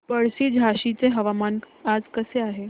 पळशी झाशीचे हवामान आज कसे आहे